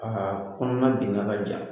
Aa kɔnɔna dinga ka jan.